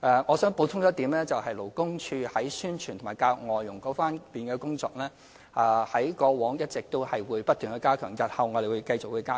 我想補充一點，勞工處在宣傳和教育外傭這方面的工作，過往一直不斷加強，日後亦會繼續加強。